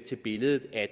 til billedet at